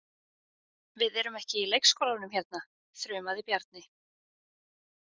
Við erum ekki í leikskólanum hérna, þrumaði Bjarni.